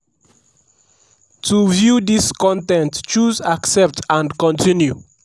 to to view dis con ten t choose 'accept and continue'.